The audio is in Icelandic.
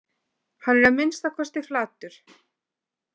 Hann er að minnsta kosti flatur